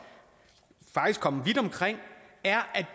kommet vidt omkring er at